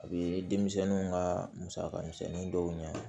A bɛ denmisɛnninw ka musaka misɛnnin dɔw ɲɛ